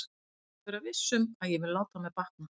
Og þú mátt vera viss um að ég vil láta mér batna.